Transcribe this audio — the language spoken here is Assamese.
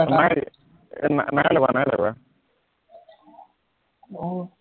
নাই, নাই লগা নাই লগা